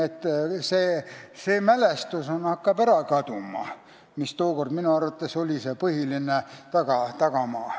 See mälestus, mis tookord oli minu arvates see põhiline tagamaa, hakkab kaduma.